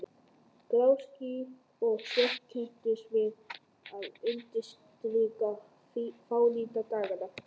Grá ský og svört kepptust við að undirstrika fánýti daganna.